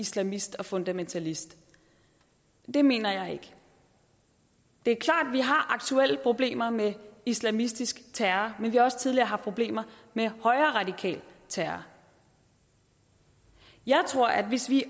islamist og fundamentalist det mener jeg ikke det er klart at vi har aktuelle problemer med islamistisk terror men vi har også tidligere haft problemer med højreradikal terror jeg tror at hvis vi